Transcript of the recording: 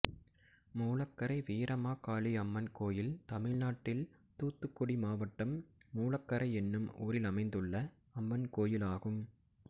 மூலக்கரை வீரமகாளி அம்மன் கோயில் தமிழ்நாட்டில் தூத்துக்குடி மாவட்டம் மூலக்கரை என்னும் ஊரில் அமைந்துள்ள அம்மன் கோயிலாகும்